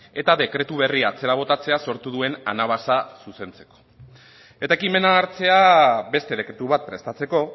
eta dekretu berria atzera botatzea sortu duen anabasa zuzentzeko eta ekimena hartzea beste dekretu bat prestatzeko